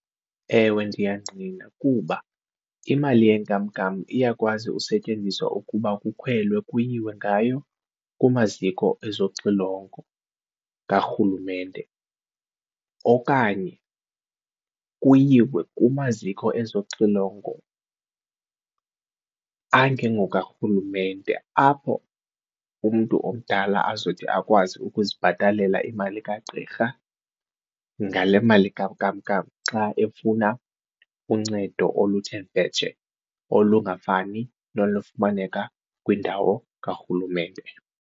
Ewe, ndiyangqina kuba imali yenkamnkam iyakwazi usetyenziswa ukuba kukhwelwe kuyiwe ngayo kumaziko ezoxilongo karhulumente okanye kuyiwe kumaziko ezoxilongo angengoka rhulumente apho umntu omdala azothi akwazi ukuzibhatalela imali kagqirha ngale mali ka nkamnkam xa efuna uncedo oluthe vetshe olungafani nolufumaneka kwindawo karhulumente.